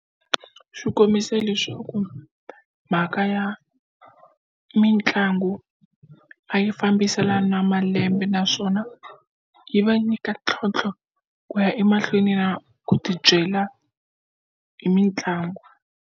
Xikombisa leswaku mhaka ya mitlangu a yi fambiselana malembe naswona yi va nyika ntlhontlho ku ya emahlweni na ku tibyela hi mitlangu.